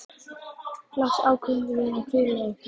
Loks ákváðum við að hvíla okkur.